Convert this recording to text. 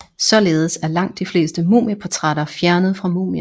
Således er langt de fleste mumieportrætter fjernet fra mumien